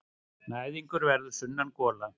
Næðingur verður sunnangola.